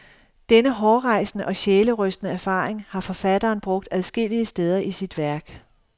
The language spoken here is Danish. Denne hårrejsende og sjælerystende erfaring har forfatteren brugt adskillige steder i sit værk.